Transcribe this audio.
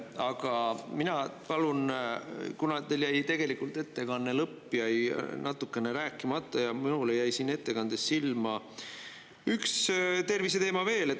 Aga mina palun, kuna teil tegelikult ettekande lõpp jäi natukene rääkimata, siis minule jäi siin ettekandes silma üks terviseteema veel.